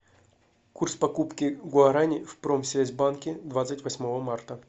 курс покупки гуарани в промсвязьбанке двадцать восьмого марта